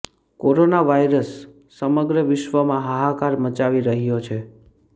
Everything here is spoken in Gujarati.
કોરોના વાયરસ સમગ્ર વિશ્વમાં હાહાકાર મચાવી રહ્યો છે